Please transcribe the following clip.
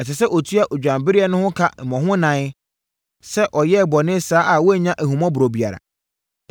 Ɛsɛ sɛ ɔtua odwanbereɛ no ka mmɔ ho ɛnan sɛ ɔyɛɛ bɔne saa a wannya ahummɔborɔ biara.”